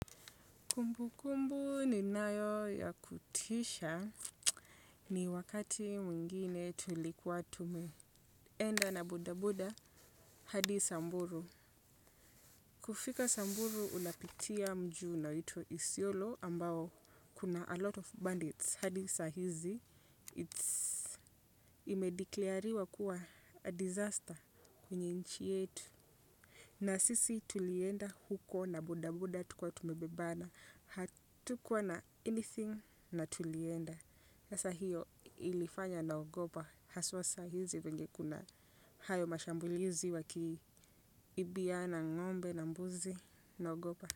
Kumbu kumbu ninayo ya kutisha ni wakati mwingine tulikuwa tumeenda na bodaboda hadi Samburu. Kufika samburu unapitia mji unaoitwa isiolo ambao kuna alot of bandits hadi saa hizi imedeclare-riwa kuwa a disaster kwenye nchi yetu. Na sisi tulienda huko na bodaboda tukiwa tumebebana. Hatukuwa na anything na tulienda. Sasa hiyo ilifanya naogopa. Haswa saa hizi vyenye kuna hayo mashambulizi wakiibiana ng'ombe na mbuzi naogopa.